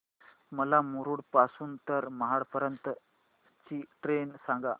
मला मुरुड पासून तर महाड पर्यंत ची ट्रेन सांगा